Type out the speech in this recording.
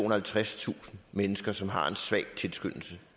og halvtredstusind mennesker som har en svag tilskyndelse